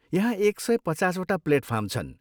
यहाँ एक सय पचासवटा प्लेटफार्म छन् ।